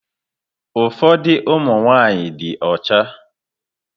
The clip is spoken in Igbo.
Ụfọdụ ụmụ nwaanyị dị ọcha.